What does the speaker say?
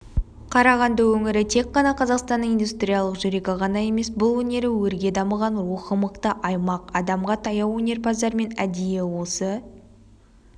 қарағанды өңірі тек қана қазақстанның индустриялық жүрегі ғана емес бұл өнері өрге дамыған рухы мықты аймақ адамға таяу өнерпаздармен әдейі осы